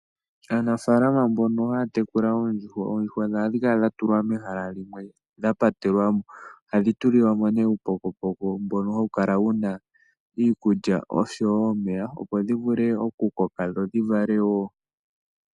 Aanafalama mbono haya tekula oondjuhwa, oondjuhwa dhawo ohadhi kala dha tulwa mehala limwe dha patelwamo. Ohadhi tulilwa mo ne uupokopoko mbono hawu kala wuna iikulya oshowo omeya opo dhi vule oku koka dho dhi valewo.